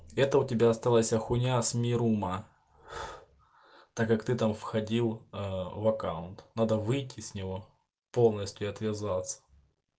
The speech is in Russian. это у тебя оставайся хуйня с мирума так как ты там входил ээ в аккаунт надо выйти с него полностью и отвязаться